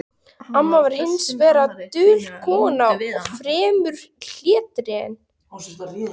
Amma var hins vegar dul kona og fremur hlédræg.